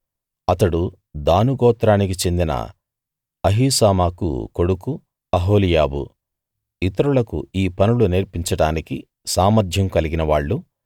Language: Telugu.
అతడు దాను గోత్రానికి చెందిన అహీసామాకు కొడుకు అహోలీయాబు ఇతరులకు ఈ పనులు నేర్పించడానికి సామర్ధ్యం కలిగినవాళ్ళు